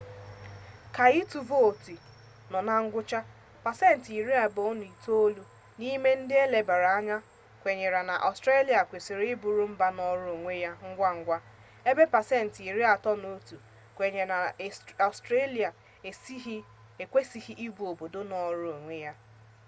ka ịtụ vootu nọ na ngwụcha pasentị iri abụọ na itolu n'ime ndị elebaara anya kwenyere na ọstrelia kwesịrị ịbụrụ mba nọọrọ onwe ya ngwa ngwa ebe pasentị iri atọ na otu kwenyere na ọstrelia ekwesịghị ịbụ obodo nọọrọ onwe ya